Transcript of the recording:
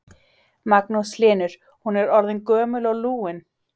Magnús Hlynur: Hún er orðin gömul og lúin?